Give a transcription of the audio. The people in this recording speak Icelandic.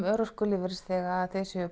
örorkulífeyrisþega að þeir séu